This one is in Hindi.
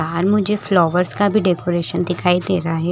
बाहर मुझे फ्लावर्स का भी डेकोरेशन दिखाई दे रहा है।